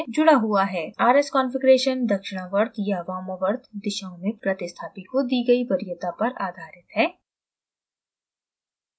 r s configuration दक्षिणावर्त या वामावर्त दिशाओं में प्रतिस्थापी को दी गयी वरीयता पर आधारित है